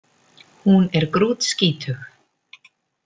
Hún er grútskítug